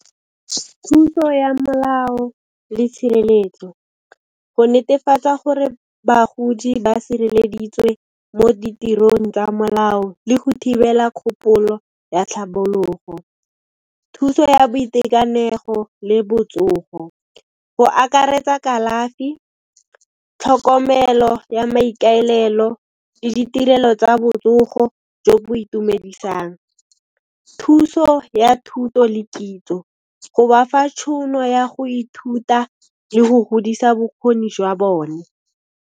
Thuso ya molao le tshireletso, go netefatsa gore bagodi ba sireleditswe mo ditirong tsa molao le go thibela kgopolo ya tlhabologo, thuso ya boitekanego le botsogo. Go akaretsa kalafi, tlhokomelo ya maikaelelo le ditirelo tsa botsogo jo bo itumedisang, thuso ya thuto le kitso, go ba fa tšhono ya go ithuta le go godisa bokgoni jwa bone.